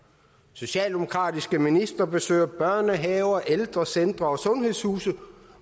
socialdemokratiske ministre besøger børnehaver ældrecentre og sundhedshuse